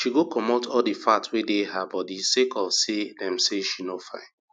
she go comot all di fat wey dey her bodi sake of say dem say she no fine